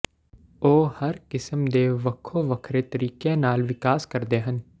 ਉਹ ਹਰ ਕਿਸਮ ਦੇ ਵੱਖੋ ਵੱਖਰੇ ਤਰੀਕਿਆਂ ਨਾਲ ਵਿਕਾਸ ਕਰਦੇ ਹਨ